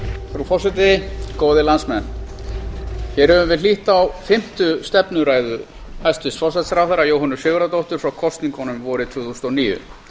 frú forseti góðir landsmenn hér höfum við hlýtt á fimmtu stefnuræðu hæstvirts forsætisráðherra jóhönnu sigurðardóttur frá kosningunum vorið tvö þúsund og níu